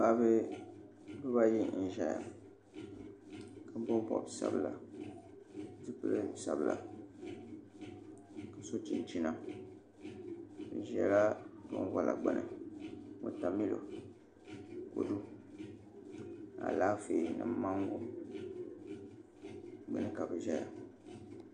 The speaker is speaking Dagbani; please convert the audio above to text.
Paɣaba ayi n ʒɛya ka bob bob sabila ka pili zipili sabila ka so chinchina bi ʒɛla binwola gbuni wotamilo kodu Alaafee ni mango gbuni ka bi ʒɛya